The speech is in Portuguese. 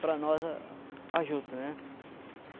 para nós a juta, né?